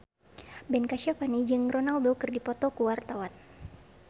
Ben Kasyafani jeung Ronaldo keur dipoto ku wartawan